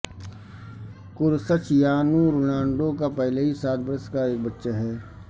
Cristiano Ronaldo کا پہلے ہی سات برس کا ایک بچہ ہے